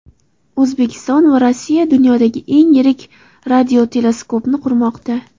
O‘zbekiston va Rossiya dunyodagi eng yirik radioteleskopni qurmoqda.